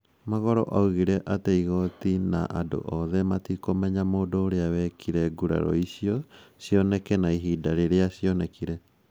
Magolo oigire atĩ igooti na andũ othe matikũmenya mũndũ ũrĩa wakire ngurario icio cioneke na ihinda rĩrĩa cionekire.